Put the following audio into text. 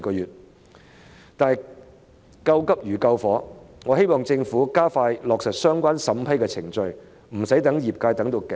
然而，救急如救火，我希望政府加快處理相關的審批程序，不要令業界望穿秋水。